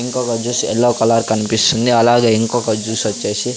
ఇంకొక juice yellow colour కనిపిస్తుంది అలాగే ఇంకొక జ్యూస్ వచ్చేసి --